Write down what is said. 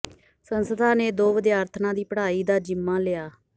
ਸੰਸਥਾ ਨੇ ਦੋ ਵਿਦਿਆਰਥਣਾਂ ਦੀ ਪੜ੍ਹਾਈ ਦਾ ਜ਼ਿੰਮਾ ਲਿਆ